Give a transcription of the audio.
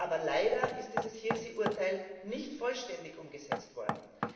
Aber leider ist dieses Hirsi Urteil nicht vollständig umgesetzt worden.